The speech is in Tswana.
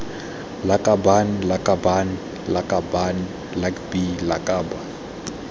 lakabaaan lakabaaan lakaban lakbi lakab